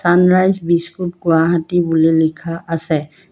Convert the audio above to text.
Sunrise biscuit Guwahati বুলি লিখা আছে।